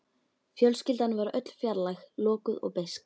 Fjölskyldan var öll fjarlæg, lokuð og beisk.